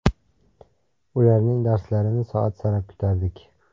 Ularning darslarini soat sanab kutardik.